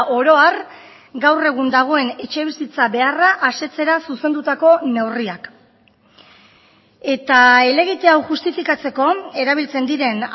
oro har gaur egun dagoen etxebizitza beharra asetzera zuzendutako neurriak eta helegite hau justifikatzeko erabiltzen diren